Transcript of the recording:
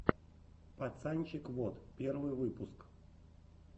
пацанчег вот первый выпуск